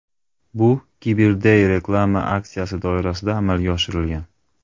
Bu CyberDay reklama aksiyasi doirasida amalga oshirilgan.